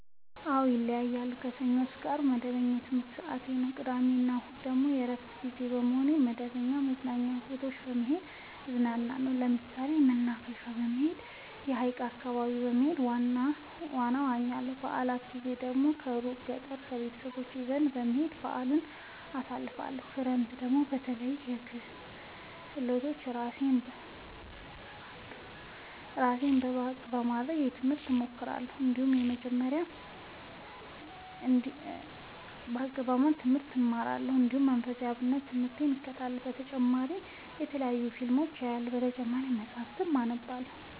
አዎ ይለያያለሉ። ከሰኞ እስከ አርብ መደበኛ የትምህርት ሰዓቴ ነው። ቅዳሜ እና እሁድ ግን የእረፍት ጊዜ በመሆኑ መደተለያዩ መዝናኛ ቦታዎች በመሄድ እዝናናለሁ። ለምሳሌ መናፈሻ በመሄድ። ሀይቅ አካባቢ በመሄድ ዋና እዋኛለሁ። የበአላት ጊዜ ደግሞ እሩቅ ገጠር ቤተሰቦቼ ዘንዳ በመሄድ በአልን አሳልፍለሁ። ክረምትን ደግሞ በለያዩ ክህሎቶች እራሴን ብቀሐ ለማድረግ ትምህርት እማራለሁ። እንዲሁ መንፈሳዊ የአብነት ትምህርቴን እከታተላለሁ። በተጨማሪ የተለያዩ ፊልሞችን አያለሁ። በተጨማሪም መፀሀፍትን አነባለሁ።